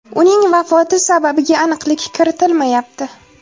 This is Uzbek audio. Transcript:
Uning vafoti sababiga aniqlik kiritilmayapti.